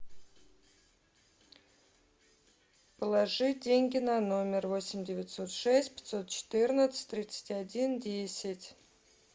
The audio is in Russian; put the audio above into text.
положи деньги на номер восемь девятьсот шесть пятьсот четырнадцать тридцать один десять